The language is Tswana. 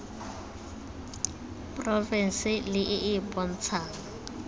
porofense le e e bontshang